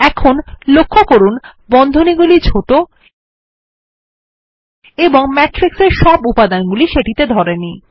এখন লক্ষ্য করুন বন্ধনী গুলি ছোট এবং ম্যাট্রিক্স এর সব উপাদান সেগুলিতে ধরেনি